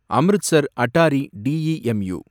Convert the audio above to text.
Amritsar Attari DEMU